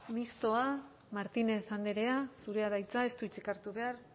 mistoa martínez andrea zurea da hitza ez du hitzik hartu behar